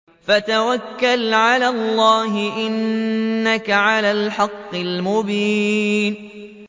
فَتَوَكَّلْ عَلَى اللَّهِ ۖ إِنَّكَ عَلَى الْحَقِّ الْمُبِينِ